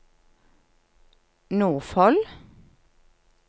Nordfold